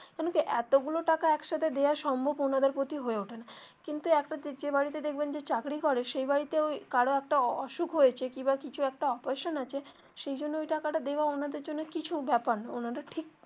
কেন কি এতগুলা টাকা একসাথে দেওয়া সম্ভব ওনাদের প্রতি হয়ে ওঠে না কিন্তু একটা যে বাড়িতে দেখবেন যে চাকরি করে সেই বাড়িতে কারো একটা অসুখ হয়েছে কি বা কিছু একটা operation আছে সেইজন্য ওই টাকাটা দেওয়া ওনাদের জন্য কিছু ব্যাপার না ওনাদের ঠিক.